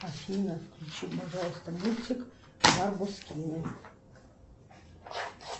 афина включи пожалуйста мультик барбоскины